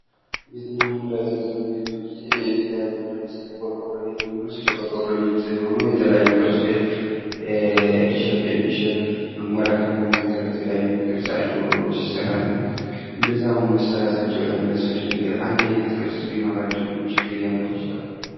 ቤትና መኖሪያ ቤት በምናይበት ጊዜ የተለያዩ ለምሳሌ የቆርቆሮ ቤትን ብንወስድ የቆርቆሮ ቤት ሆኖ የተለያዩ ቅርጽ ቤት ኤል ሼፕ፣ ኤም ሼፕ ፣አሞራ ክንፍ በመባል የተለያዩ አይነት ቅርጽ አለው ሲሰራ እና እንደዛም ሆኖ መሠራታቸው ለምን አስፈለገ አንድ አይነት ቅርጽ ቢኖራቸው ምንም ችግር ሊያመጡ ይችላሉ?